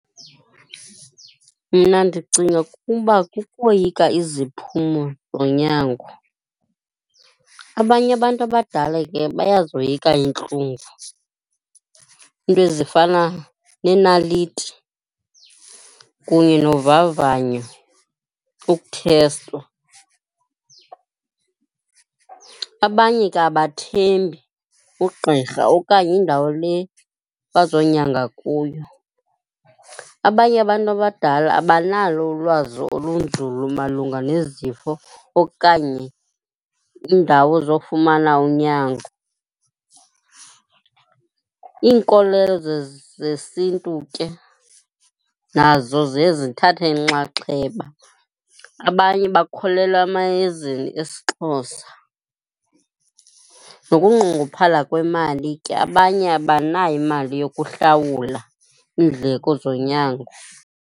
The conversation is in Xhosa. Mna ndicinga ukuba kukoyika iziphumo zonyango. Abanye abantu abadala ke bayazoyika iintlungu, iinto ezifana nenaliti kunye wovavanyo, ukuthestwa. Abanye ke abathembi ugqirha okanye indawo le bazokunyangwa kuyo. Abanye abantu abadala abanalo ulwazi olunzulu malunga nezifo okanye iindawo zokufumana unyango, iinkolelo zesintu ke nazo ziye zithathe inxaxheba. Abanye bakholelwa emayezeni esiXhosa nokunqongophala kwemali ke, abanye abanayo imali yokuhlawula iindleko zonyango.